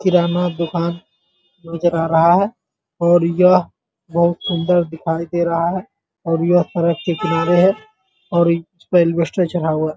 किराना दुकान नजर आ रहा है और यह बहुत सुन्दर दिखाई दे रहा है और यह सड़क के किनारे है और इसपे एलवेस्टर चढ़ा हुआ --